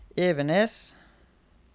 Evenes